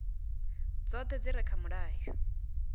dzoṱhe dzi re kha mulayo